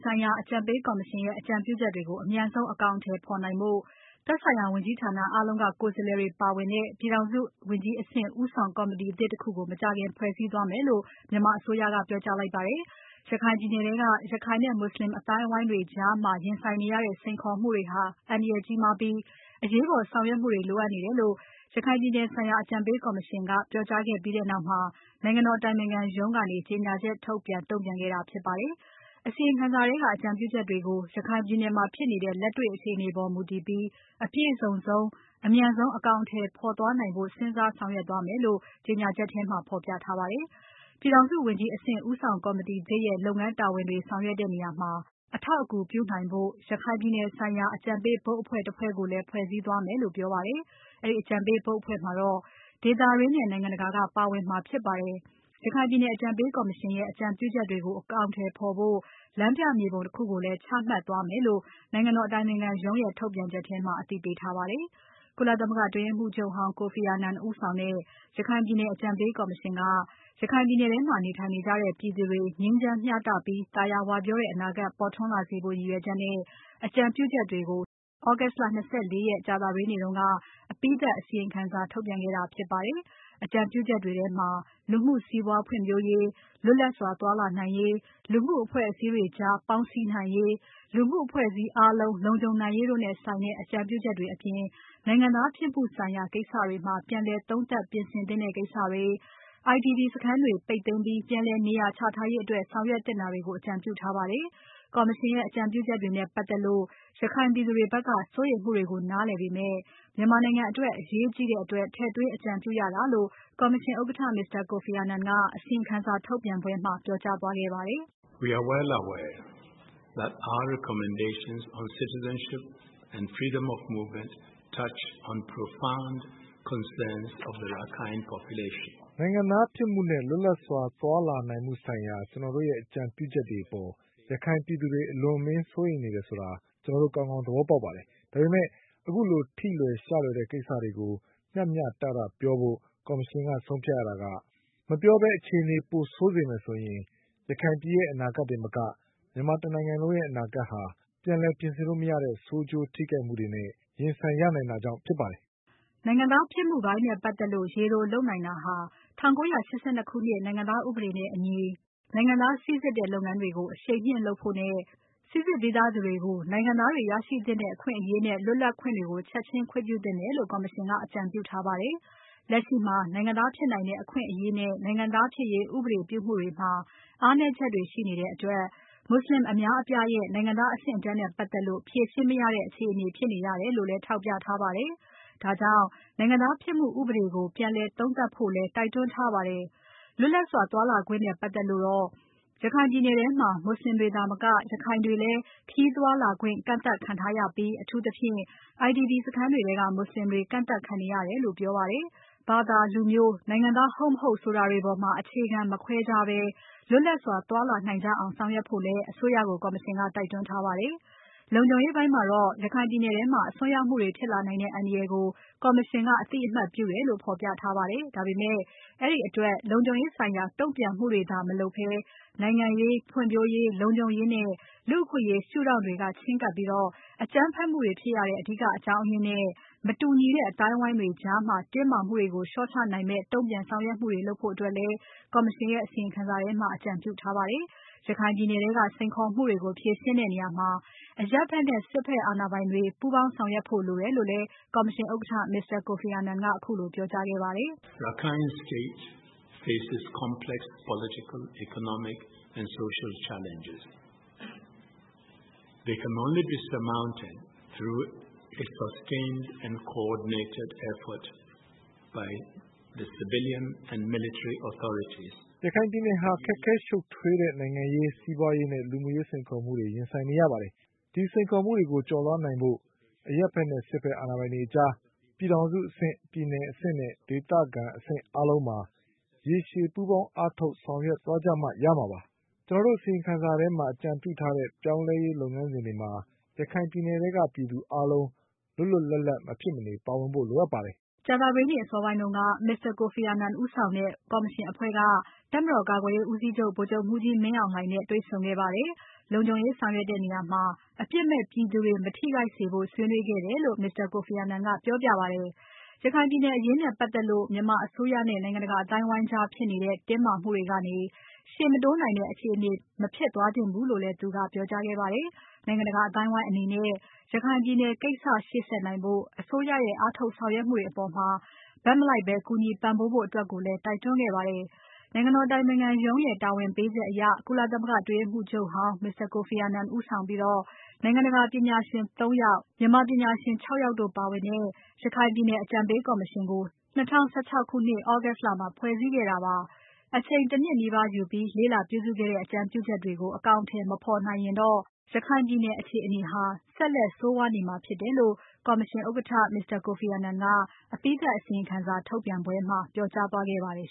ဆိုင်ရာအကြံပေးကော်မရှင်ရဲ့ အကြံပြုချက်တွေကို အမြန်ဆုံး အကောင်အထည်ဖော်နိုင်ဖို့ သက်ဆိုင်ရာဝန်ကြီးဌာနအားလုံးက ကိုယ်စားလှယ်တွေပါဝင်တဲ့ ပြည်ထောင်စုဝန်ကြီးအဆင့်ဦးဆောင် ကော်မတီသစ်တခုကို မကြာခင်ဖွဲ့စည်းသွားမယ်လို့ မြန်မာအစိုးရက ပြောကြားလိုက်ပါတယ်။ ရခိုင်ပြည်နယ်ထဲက ရခိုင်နဲ့ မွတ်ဆလင်အသိုင်းအဝိုင်းတွေကြား ရင်ဆိုင်နေရတဲ့စိန်ခေါ်မှုတွေဟာ အန္တရာယ်ကြီးမားပြီး အရေးပေါ်ဆောင်ရွက်မှုတွေ လိုအပ်နေတယ်လို့ ရခိုင်ပြည်နယ်ဆိုင်ရာ အကြံပေးကော်မရှင်က ပြောကြားခဲ့ပြီးနောက်မှာ နိုင်ငံတော်အတိုင်ပင်ခံပုဂ္ဂိုလ်ရုံး ကနေ ကြေညာချက်ထုတ်ပြန် တုံ့ပြန်ခဲ့တာဖြစ်ပါတယ်။ အစီရင်ခံစာထဲက အကြံပြုချက်တွေကို ရခိုင်ပြည်နယ်မှာဖြစ်နေတဲ့ လက်တေ့ွအခြေအနေပေါ် မူတည်ပြီး အပြည့်စုံဆုံး။ အမြန်ဆုံး အကောင်အထည်ဖော်သွားနိုင်ဖို့ စဉ်းစားဆောင်ရွက်သွားမယ်လို့ ကြေညာချက်ထဲမှာ ပြောထားပါတယ်။ ပြည်ထောင်စုဝန်ကြီးအဆင့် ဦးဆောင်ကော်မတီသစ်ရဲ့ လုပ်ငန်းတာဝန်တွေဆောင်ရွက်တဲ့နေရာမှာ အထောက်အကူပြုနိုင်ဖို့ ရခိုင်ပြည်နယ်ဆိုင်ရာ အကြံပေးဘုတ်အဖွဲ့တဖွဲ့ကိုလည်း ဖွဲ့စည်းသွားမယ်လို့ပြောပါတယ်။ အဲဒီအကြံပေးဘုတ်အဖွဲ့မှာတော့ ဒေသတွင်းနဲ့ နိုင်ငံတကာက ကျွမ်းကျင်သူတွေ ပါဝင်မှာဖြစ်ပါတယ်။ ရခိုင်ပြည်နယ်အကြံပေးကော်မရှင်ရဲ့ အကြံပြုချက်တွေကို အကောင်အထည်ဖော်ဖို့ လမ်းပြမြေပုံတခုကိုလည်း ခုမှတ်သွားမယ်လို့ နိုင်ငံတော်အတိုင်ပင်ခံရုံးရဲ့ ထုတ်ပြန်ချက်ထဲမှာ အသိပေးထားပါတယ်။ ကုလသမဂ္ဂအတွင်းရေးမှူးချုပ်ဟောင်း Kofi Annan ဦးဆောင်တဲ့ ရခိုင်ပြည်နယ်အကြံပေးကော်မရှင်က ရခိုင်ပြည်နယ်ထဲမှာနေထိုင်ကြတဲ့ ပြည်သူတွေ ငြိမ်းချမ်းမျှတပြီး သာယာဝပြောတဲ့ အနာဂါတ် ပေါ်ထွန်းလာစေဖို့ ရည်ရွယ်ချက်နဲ့ အကြံပြုချက်တွေကို August လ ၂၄ ရက်။ ကြာသပတေးနေ့က အပြီးသတ်အစီရင်ခံစာကို ထုတ်ပြန်ခဲ့ပါတယ်။ အကြံပြုချက်တွေထဲမှာ လူမှုစီးပွားဖွံ့ဖြိုးရေး။ လွတ်လပ်စွာသွားလာနိုင်ရေး။ လူမှုအဖွဲ့အစည်းတွေကြားပေါင်းစည်းနိုင်ရေး။ လူမှုအဖွဲ့အစည်းအားလုံး လုံခြုံနိုင်ရေးတို့နဲ့ဆိုင်တဲ့ အကြံပြုချက်တွေအပြင် နိုင်ငံသားဖြစ်မှုဆိုင်ရာ ကိစ္စတွေမှာ ပြန်လည်သုံးသပ် ပြင်ဆင်သင့်တဲ့ကိစ္စတွေ။ IDP စခန်းတွေပိတ်သိမ်းပြီး ပြန်လည်နေရာချထားရေးအတွက် ဆောင်ရွက်သင့်တာတွေကိုလည်း အကြံပြုထားပါတယ်။ ကော်မရှင်ရဲ့ အကြံပြုချက်တွေနဲ့ပါတ်သက်လို့ ရခိုင်ပြည်သူတွေဖက်က စိုးရိမ်မှုတွေကို နားလည်ပေမဲ့ မြန်မာနိုင်ငံအတွက် အရေးကြီးတဲ့အတွက် ထည့်သွင်းအကြံပြုရတာဖြစ်တယ်လို့ ကော်မရှင်ဥက္ကဋ္ဌ Mr. Kofi Annan က အစီရင်ခံစာထုတ်ပြန်ပွဲမှာ ပြောကြားခဲ့ပါတယ်။ “နိုင်ငံသားဖြစ်မှုနဲ့ လွတ်လပ်စွာ သွားလာနိုင်မှုဆိုင်ရာ ကျွန်တော်တို့ရဲ့ အကြံပြုချက်တွေအပေါ် ရခိုင်ပြည်သူတွေ အလွန်အမင်း စိုးရိမ်တယ်ဆိုတာ ကျွန်တော်တို့ ကောင်ကောင်း သဘောပေါက်ပါတယ်။ ဒါပေမဲ့ ခုလိုထိလွယ် ရှလွယ်တဲ့ ကိစ္စတွေကို မျှမျှတတပြောဖို့ ကော်မရှင်က ဆုံးဖြတ်ရတာက မပြောဘဲအခြေအနေပိုဆိုးစေမယ်ဆိုရင် ရခိုင်ပြည်နယ်ရဲ့ အနာဂါတ်တင်မက မြန်မာတနိုင်ငံလုံးရဲ့ အနာဂါတ်ဟာ ပြန်လည်ပြင်ဆင်လို့မရတဲ့ ဆိုးကျိုးထိခိုက်မှုတွေနဲ့ ရင်ဆိုင်ရနိုင်တာကြောင့်ဖြစ်ပါတယ်။” နိုင်ငံသားဖြစ်မှုပိုင်းနဲ့ပါတ်သက်လို့ ရေတိုလုပ်နိုင်တာဟာ ၁၉၈၂ ခုနှစ် နိုင်ငံသားဥပဒေနဲ့အညီ နိုင်ငံသားစိစစ်တဲ့လုပ်ငန်းတွေကို အရှိန်မြင့်လုပ်ဖို့နဲ့ စိစစ်ပြီးသူတွေကို နိုင်ငံသားတွေရရှိထိုက်တဲ့ အခွင့်အရေးနဲ့ လွတ်လပ်ခွင့်တွေကို ချက်ချင်း ခွင့်ပြုသင့်တယ်လို့ ကော်မရှင်က အကြံပြုထားပါတယ်။ လက်ရှိမှာ နိုင်ငံသားဖြစ်နိုင်တဲ့ အခွင့်အရေးနဲ့ နိုင်ငံသားဖြစ်ရေး ဥပဒေပြုမှုတွေမှာ အားနည်းချက်တွေရှိနေတဲ့အတွက် မွတ်ဆလင်အများအပြားရဲ့ နိုင်ငံသားအဆင့်အတန်းနဲ့ပါတ်သက်လို့ ဖြေရှင်းမရတဲ့ အခြေအနေဖြစ်နေရတယ်လို့လည်း ထောက်ပြထားပါတယ်။ ဒါကြောင့် နိုင်ငံသားဖြစ်မှုဥပဒေကို ပြန်လည်သုံးသပ်ဖို့လည်း တိုက်တွန်းထားပါတယ်။ လွတ်လပ်စွာသွားလာခွင့်နဲ့ပါတ်သက်လို့တော့ ရခိုင်ပြည်နယ်ထဲမှာ မွတ်ဆလင်တွေသာမက ရခိုင်တွေလည်း ခရီးသွားလာခွင့် ကန့်သတ်ခံထားရပြီး အထူးသဖြင့် IDP စခန်းထဲကမွတ်ဆလင်တွေကန့်သတ်ခံနေရတယ်လို့ ပြောပါတယ်။ ဘာသာ။ လူမျိုး။ နိုင်ငံသား ဟုတ်မဟုတ်ဆိုတာတွေပေါ်မှာ အခြေခံ မခွဲခြားဘဲ လွတ်လပ်စွာသွားလာနိုင်ကြအောင် ဆောင်ရွက်ဖို့လည်း အစိုးရကို ကော်မရှင်က တိုက်တွန်းထားပါတယ်။ လုံခြုံရေးပိုင်းမှာတော့ ရခိုင်ပြည်နယ်ထဲမှာ အစွန်းရောက်မှုတွေဖြစ်လာနိုင်တဲ့ အန္တရာယ်ကို ကော်မရှင်ကအသိအမှတ်ပြုတယ်လို့ ဖော်ပြထားပါတယ်။ ဒါပေမဲ့ အဲဒီအတွက် လုံခြုံရေးဆိုင်ရာ တုံ့ပြန်မှုတွေသာ မလုပ်ဘဲ နိုင်ငံရေး။ ဖွံ့ဖြိုးရေး။ လုံခြုံရေးနဲ့ လူ့အခွင့်အရေးရှုထောင့်တွေက ချဉ်းကပ်ပြီး အကြမ်းဖက်မှုတွေဖြစ်ရတဲ့ အဓိကကြောင်းအရင်းနဲ့ မတူညီတဲ့ အသိုင်းအဝိုင်းတွေကြားတင်းမာမှုတွေကို လျော့ချနိုင်မယ့် တုံ့ပြန်ဆောင်ရွက်မှုတွေလုပ်ဖို့ ကော်မရှင်ရဲ့ အစီရင်ခံစာထဲမှာ အကြံပြုထားပါတယ်။ ရခိုင်ပြည်နယ်ထဲက စိန်ခေါ်မှုတွေကို ဖြေရှင်းတဲ့နေရာမှာ အရပ်ဖက်နဲ့ စစ်ဖက်အာဏာပိုင်တွေ ပူးပေါင်းဆောင်ရွက်ဖို့လိုတယ်လို့လည်း ကော်မရှင်ဥက္ကဋ္ဌ Mr. Kofi Annan ကခုလိုပြောကြားခဲ့ပါတယ်။ “ရခိုင်ပြည်နယ်ဟာ ခက်ခဲရှုပ်ထွေးတဲ့ နိုင်ငံရေး။ စီးပွားရေးနဲ့ လူမှုရေးစိန်ခေါ်မှုတွေ ရင်ဆိုင်နေရပါတယ်။ ဒီစိန်ခေါ်မှုတွေကို ကျော်လွှားနိုင်ဖို့အတွက် အရပ်ဖက်နဲ့ စစ်ဖက်အာဏာပိုင်တွေကြား ပြည်ထောင်စုအဆင့်။ ပြည်နယ်အဆင့်နဲ့ ဒေသခံအဆင့်အားလုံးမှာ ရေရှည် ပူးပေါင်းအားထုတ် ဆောင်ရွက်သွားကြမှ ရမှာပါ။ ကျွန်တော်တို့ အစီရင်ခံစာထဲမှာ အကြံပြုထားတဲ့ ပြောင်းလဲရေးလုပ်ငန်းစဉ်တွေမှာ ရခိုင်ပြည်နယ်ထဲက ပြည်သူအားလုံး လွတ်လွတ်လပ်လပ် မဖြစ်မနေပါဝင်ဖို့လိုအပ်ပါတယ်။” ကြာသပတေးနေ့အစောပိုင်းက Mr. Kofi Annan ဦးဆောင်တဲ့ ကော်မရှင်အဖွဲ့က တပ်မတော်ကာကွယ်ရေးဦးစီးချုပ် ဗိုလ်ချုပ်မှူးကြီးမင်းအောင်လှိုင်နဲ့ တွေ့ဆုံခဲ့ပါတယ်။ လုံခြုံရေးဆောင်ရွက်တဲ့နေရာမှာ အပြစ်မဲ့ပြည်သူတွေ မထိခိုက်စေဖို့ ဆွေးနွေးခဲ့တယ်လို့ Mr. Kofi Annan ကပြောပြပါတယ်။ ရခိုင်ပြည်နယ်အရေးနဲ့ပါတ်သက်လို့ မြန်မာအစိုးရနဲ့ နိုင်ငံတကာအသိုင်းအဝိုင်းကြား ဖြစ်နေတဲ့ တင်းမာမှုတွေကနေ ရှေ့မတိုးနိုင်တဲ့ အခြေအနေ မဖြစ်သွားသင့်ဘူးလို့လည်းသူက ပြောကြားခဲ့ပါတယ်။ နိုင်ငံတကာအသိုင်းအဝိုင်းအနေနဲ့ ရခိုင်ပြည်နယ်ကိစ္စ ရှေ့ဆက်နိုင်ဖို့ အစိုးရရဲ့ အားထုတ်ဆောင်ရွက်မှုတွေအပေါ် ဘက်မလိုက်ဘဲ ကူညီပံ့ပိုးဖို့အတွက်လည်း တိုက်တွန်းခဲ့ပါတယ်။ နိုင်ငံတော်အတိုင်ပင်ခံရုံးရဲ့ တာဝန်ပေးချက်အရ ကုလသမဂ္ဂအတွင်းရေးမှူးချုပ်ဟောင်း Mr. Kofi Annan ဦးဆောင်ပြီး နိုင်ငံတကာပညာရှင် ၃ ယောက် မြန်မာပညာရှင် ၆ ယောက်တို့ပါဝင်တဲ့ ရခိုင်ပြည်နယ်အကြံပေးကော်မရှင်ကို ၂၀၁၆ ခုနှစ် August လမှာ ဖွဲ့စည်းခဲ့တာဖြစ်ပါတယ်။ အချိန် ၁ နှစ်နီးပါးယူပြီး လေ့လာပြုစုခဲ့တဲ့ အကြံပြုချက်တွေကို အကောင်အထည်မဖော်နိုင်ရင်တော ရခိုင်ပြည်နယ်အခြေအနေဟာ ဆက်လက်ဆိုးဝါးနေမှာဖြစ်တယ်လို့ ကော်မရှင်ဥက္ကဋ္ဌ Mr. Kofi Annan က အပြီးသတ်အစီရင်ခံစာထုတ်ပြန်ပွဲမှာ ပြောကြားသွားခဲ့ပါတယ်